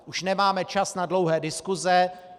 Už nemáme čas na dlouhé diskuse.